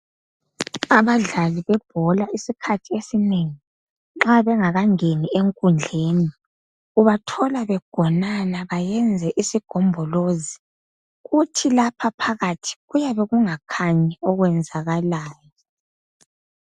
Abadlali bebhola isikhathi esinengi nxa bengakangeni enkundleni ubathola begonana beyenze isigombolozi, kuthi lapha phakathi kuyabe kungakhanyi okwenzakalayo.